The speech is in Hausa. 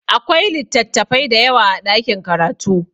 Akwai littattafai da yawa a ɗakin karatu.